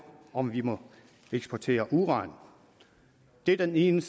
om vi må eksportere uran det er den ene